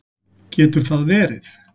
Getur það verið?